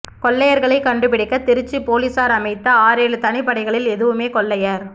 கொள்ளையர்களைக் கண்டுபிடிக்க திருச்சி போலீஸார் அமைத்த ஆறேழு தனிப்படைகளில் எதுவுமே கொள்ளையர்